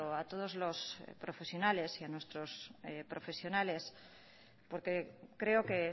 a todos los profesionales y a nuestros profesionales porque creo que